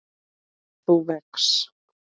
þú vex.